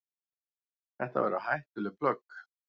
Þetta væru hættuleg plögg.